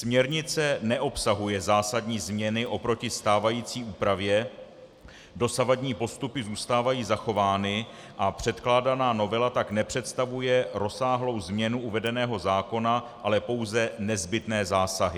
Směrnice neobsahuje zásadní změny oproti stávající úpravě, dosavadní postupy zůstávají zachovány a předkládaná novela tak nepředstavuje rozsáhlou změnu uvedeného zákona, ale pouze nezbytné zásahy.